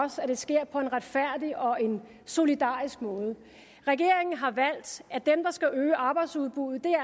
os at det sker på en retfærdig og solidarisk måde regeringen har valgt at dem der skal øge arbejdsudbuddet